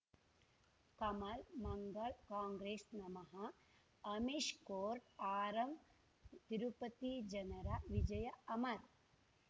ಕಮಲ್ ಮಂಗಳ್ ಕಾಂಗ್ರೆಸ್ ನಮಃ ಅಮಿಷ್ ಕೋರ್ಟ್ ಆರಂಬ್ ತಿರುಪತಿ ಜನರ ವಿಜಯ ಅಮರ್